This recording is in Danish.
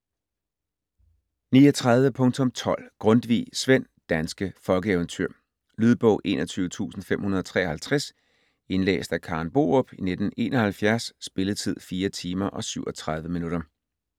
39.12 Grundtvig, Svend: Danske folkeeventyr Lydbog 21553 Indlæst af Karen Borup, 1971. Spilletid: 4 timer, 37 minutter.